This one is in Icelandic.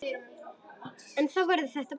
En það verður betra.